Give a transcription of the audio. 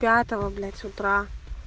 пятого блять утра